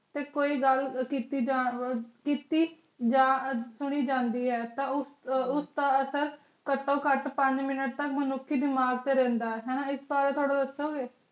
ਪਰ ਕੋਈ ਗੱਲ ਸਥਿਤੀ ਜਾਨਣ ਵੱਲ ਹੀ ਸ ਜਾਣੀ ਜਾਂਦੀ ਹੈ ਤਾਂ ਉਸ ਦਾ ਘੱਟੋ ਘੱਟ ਪੰਜ ਮਨੁੱਖੀ ਗਿਆਨ ਦਾ ਸਰੋਤ ਹੈ